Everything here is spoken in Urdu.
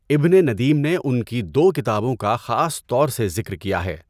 ابنِ ندیم نے ان کی دو کتابوں کا خاص طور سے ذکر کیا ہے۔